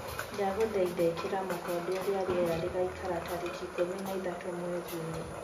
ndagũthaitha ikĩra mukonde uria rĩera rĩgaĩkara tarĩkĩ ikumi na ithatu mwerĩ uyu